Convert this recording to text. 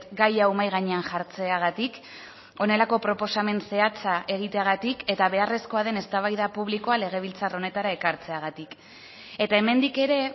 gai hau mahai gainean jartzeagatik honelako proposamen zehatza egiteagatik eta beharrezkoa den eztabaida publikoa legebiltzar honetara ekartzeagatik eta hemendik ere